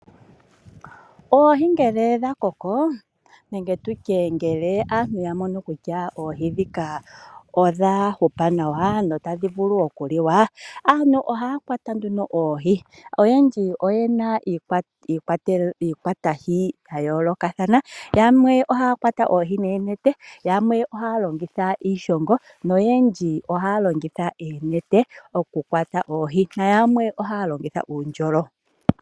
Oohi ngele dha koko nenge tutye ngele aantu ya mono kutya oohi ndhika odha hupa nawa notadhi vulu okuliwa, aantu ohaya kwata nduno oohi. Oyendji oyena iikwatihi ya yoolokathana: yamwe ohaya kwata oohi noonete, yamwe ohaya longitha iishongo noyendji ohaya longitha oonete okukwata oohi na yamwe ohaya longitha uundjolo.